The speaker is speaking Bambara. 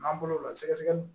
N'an bolo la sɛgɛsɛgɛli